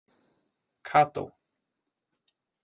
Kató